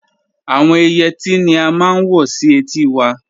Àwọn Ìyetí ni à màá n wọ̀ sí ètì wà.